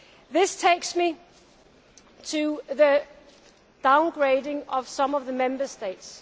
This takes me to the downgrading of some of the Member States.